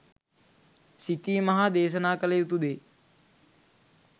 සිතීම හා දේශනා කළ යුතු දේ